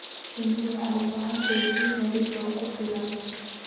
Shinnidu waxay u baahan tahay biyo nadiif ah oo ku filan.